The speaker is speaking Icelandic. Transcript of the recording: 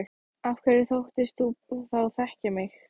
Af hverju þóttist þú þá þekkja mig?